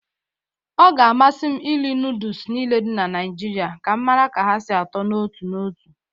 Ọ ga-amasị iri nọọdụs niile dị na Naịjirị ka m mara ka ha sị atọ n'otu n'otu.